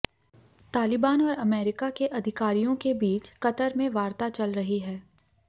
तालिबान और अमेरिका के अधिकारियों के बीच कतर में वार्ता चल रही है